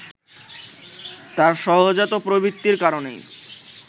তার সহজাত প্রবৃত্তির কারণেই